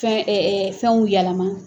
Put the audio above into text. Fɛn fɛnw yɛlɛma.